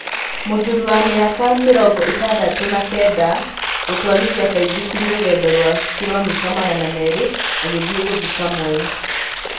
Mũthuri wa mĩ aka mĩ rongo ĩ tandatũ na kenda gũtwarithia baithikiri rũgendo rwa kiromita magana merĩ agĩ thiĩ gũthika Moi